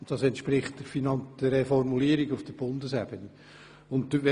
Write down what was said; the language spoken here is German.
» Dies entspricht der Formulierung, wie sie auf Bundesebene besteht.